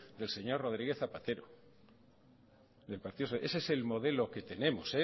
del señor rodríguez zapatero ese es el modelo que tenemos